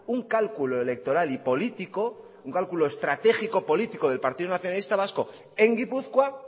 un cálculo electoral y político un cálculo estratégico político del partido nacionalista vasco en gipuzkoa